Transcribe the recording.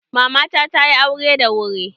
Mama ta tayi aure da wuri.